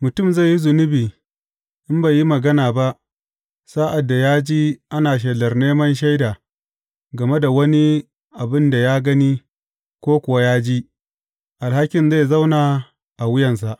Mutum zai yi zunubi in bai yi magana ba sa’ad da ya ji ana shelar neman shaida game da wani abin da ya gani ko kuwa ya ji, alhakin zai zauna a wuyansa.